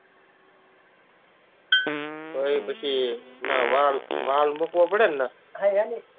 તો પછી valve valve મુકવા પડેને